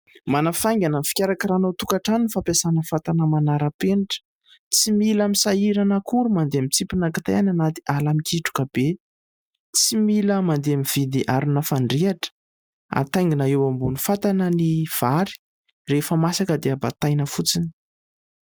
Manafaingana ny fikarakarana ao an-tokatrano ny fampiasana ny fatana manarapenitra. Tsy mila misahirana akory mandeha mitsipona kitay any anaty ala mikitroka be. Tsy mila mandeha mividy arina fandrehatra. Hataingina eo ambonin'ny fatana ny vary, rehefa masaka dia bataina fotsiny.